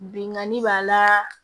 Binganni b'a la